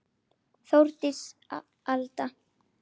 Þórdís Alda.